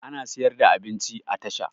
Ana siyar da abinci a tasha